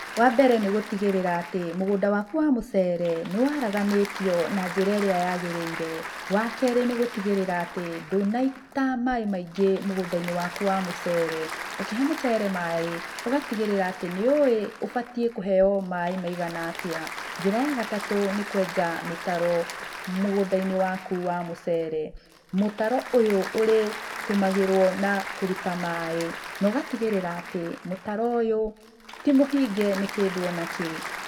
Wa mbere nĩ gũtigĩrĩra atĩ mũgũnda waku wa mũcere nĩ waraganĩtio na njĩra ĩrĩa yagĩrĩire. Wa kerĩ nĩ gũtigĩrĩra atũ ndũnaita maaĩ maingĩ mũgũnda-inĩ waku wa mũcere. Ũkĩhe mũcere waku maaĩ ũgatigĩrĩra atĩ nĩ ũĩ ũbatiĩ kũheo maaĩ maigana atĩa. Njĩra ya gatatũ nĩ kwenja mĩtaro mũgũnda-inĩ waku wa mũcere. Mũtaro ũyũ ũrĩtũmagĩrwo na kũruta maaĩ na ũgatigĩrĩra atĩ mũtaro ũyũ ti mũhinge nĩ kĩndũ ona kĩ.